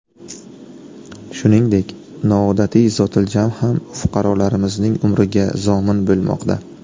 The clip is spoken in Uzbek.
Shuningdek, noodatiy zotiljam ham fuqarolarimizning umriga zomin bo‘lmoqda.